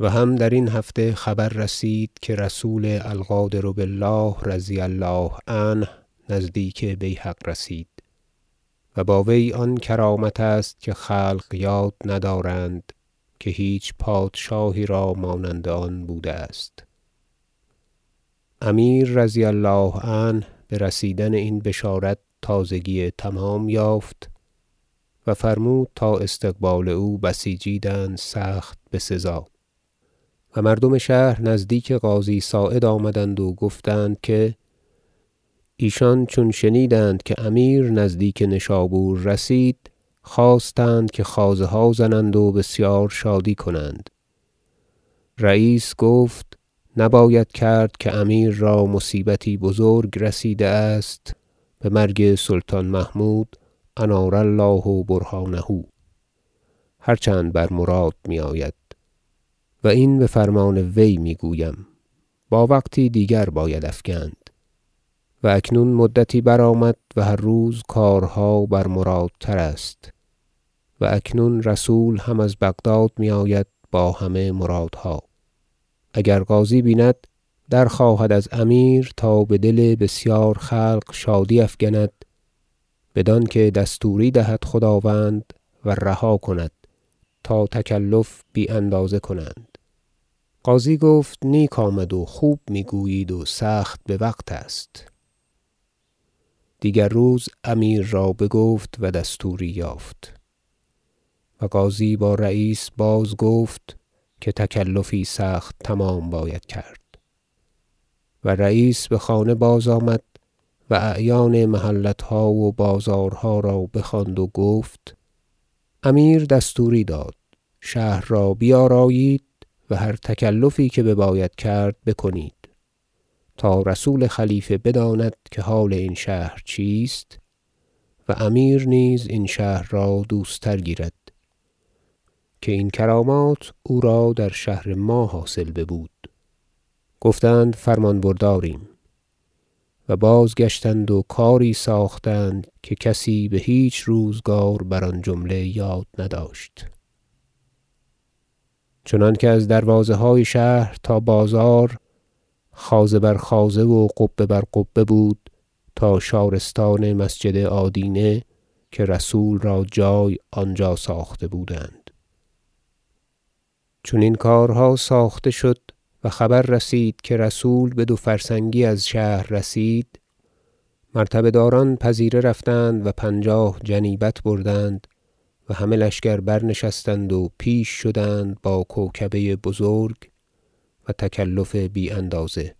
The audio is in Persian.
و هم در این هفته خبر رسید که رسول القادر بالله -رضی الله عنه- نزدیک بیهق رسید و با وی آن کرامت است که خلق یاد ندارند که هیچ پادشاهی را مانند آن بوده است امیر -رضی الله عنه- به رسیدن این بشارت تازگی تمام یافت و فرمود تا استقبال او بسیچیدند سخت بسزا و مردم شهر نزدیک قاضی صاعد آمدند و گفتند که ایشان چون شنیدند که امیر نزدیک نشابور رسید خواستند که خوازه ها زنند و بسیار شادی کنند رییس گفت نباید کرد که امیر را مصیبتی بزرگ رسیده است به مرگ سلطان محمود -أنار الله برهانه - هرچند بر مراد می آید و این به فرمان وی می گویم با وقتی دیگر باید افکند و اکنون مدتی برآمد و هر روز کارها برمرادتر است و اکنون رسول هم از بغداد می آید با همه مرادها اگر قاضی بیند درخواهد از امیر تا به دل بسیار خلق شادی افکند بدانکه دستوری دهد خداوند و رها کند تا تکلف بی اندازه کنند قاضی گفت نیک آمد و خوب می گویید و سخت بوقت است دیگر روز امیر را بگفت و دستوری یافت و قاضی با رییس بازگفت که تکلفی سخت تمام باید کرد و رییس به خانه بازآمد و اعیان محلتها و بازارها را بخواند و گفت امیر دستوری داد شهر را بیارایید و هر تکلفی که بباید کرد بکنید تا رسول خلیفه بداند که حال این شهر چیست و امیر نیز این شهر را دوست تر گیرد که این کرامات او را در شهر ما حاصل ببود گفتند فرمان برداریم و بازگشتند و کاری ساختند که کسی به هیچ روزگار بر آن جمله یاد نداشت چنانکه از دروازه های شهر تا بازار خوازه بر خوازه و قبه بر قبه بود تا شارستان مسجد آدینه که رسول را جای آنجا ساخته بودند چون این کارها ساخته شد و خبر رسید که رسول به دوفرسنگی از شهر رسید مرتبه داران پذیره رفتند و پنجاه جنیبت بردند و همه لشکر برنشستند و پیش شدند با کوکبه بزرگ و تکلف بی اندازه